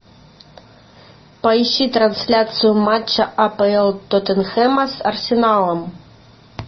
поищи трансляцию матча апл тоттенхэма с арсеналом